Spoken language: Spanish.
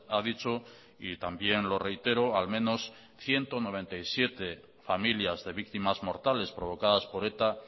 ha dicho y también lo reitero al menos ciento noventa y siete familias de víctimas mortales provocadas por eta